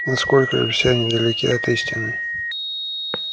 но сколь все они далеки от истины